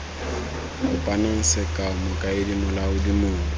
kopang sekao mokaedi molaodi mong